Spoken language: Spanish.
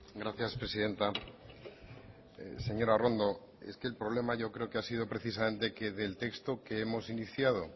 gracias presidenta señora arrondo es que el problema yo creo que ha sido precisamente que del texto que hemos iniciado